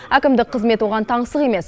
әкімдік қызмет оған таңсық емес